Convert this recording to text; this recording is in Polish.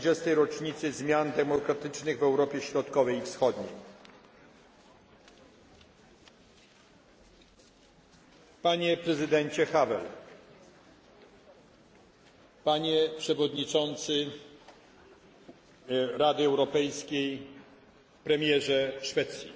20. rocznicy zmian demokratycznych w Europie Środkowej i Wschodniej. Panie prezydencie Havel, panie przewodniczący Rady Europejskiej, premierze Szwecji,